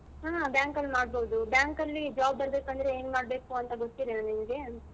ಹಾ bank ಅಲ್ಲಿ ಮಾಡ್ಬೋದು bank ಅಲ್ಲಿ job ಬರ್ಬೇಕಂದ್ರೆ ಏನ್ ಮಾಡಬೇಕು ಗೊತ್ತಿಲ್ವ ನಿನ್ಗೆ?